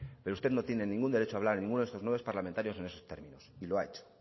pero usted no tienen ningún derecho a hablar en ninguno de estos parlamentarios en esos términos y lo ha hecho